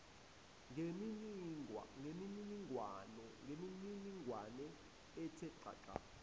ngemininingwane ethe xaxa